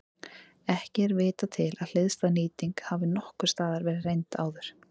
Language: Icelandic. Ekki er vitað til að hliðstæð nýting hafi nokkurs staðar verið reynd áður.